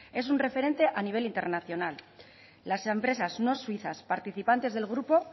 es un referente a nivel internacional las empresas no suizas participantes del grupo